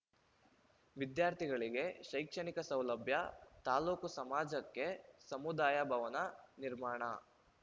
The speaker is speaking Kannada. ವಿದ್ಯಾರ್ಥಿಗಳಿಗೆ ಶೈಕ್ಷಣಿಕ ಸೌಲಭ್ಯ ತಾಲೂಕು ಸಮಾಜಕ್ಕೆ ಸಮುದಾಯ ಭವನ ನಿರ್ಮಾಣ